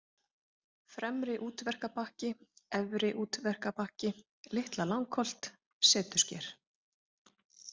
Fremri-Útverkabakki, Efri-Útverkabakki, Litla-Langholt, Setusker